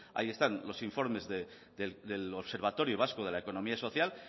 ahí están los informes del observatorio vasco de la economía social